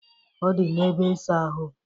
Ọ dị n'ebe ịsa ahụ.